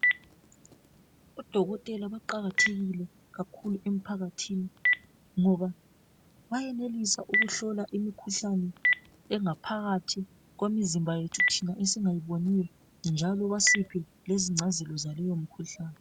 Odokotela baqakathekile kakhulu emphakathini ngoba bayenelisa ukuhlola imikhuhlane engaphakathi kwemizimba yethu thina esingayiboniyo njalo basiphe lezingcazelo zaleyo mkhuhlane.